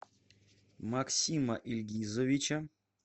максима ильгизовича